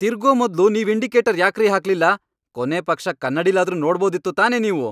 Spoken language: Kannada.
ತಿರ್ಗೋ ಮೊದ್ಲು ನೀವ್ ಇಂಡಿಕೇಟರ್ ಯಾಕ್ರೀ ಹಾಕ್ಲಿಲ್ಲ? ಕೊನೇಪಕ್ಷ ಕನ್ನಡಿಲಾದ್ರೂ ನೋಡ್ಬೋದಿತ್ತು ತಾನೇ ನೀವು.